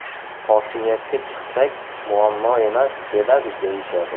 Hokimiyatga chiqsak, muammo emas, beradi, deyishadi.